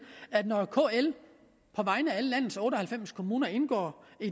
at når kl på vegne af alle landets otte og halvfems kommuner indgår